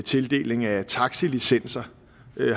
tildeling af taxilicenser